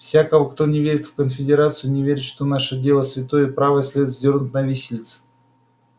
всякого кто не верит в конфедерацию не верит что наше дело святое и правое следует вздёрнуть на виселице